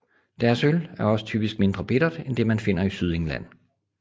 Deres øl er også typisk mindre bittert end det man finder i Sydengland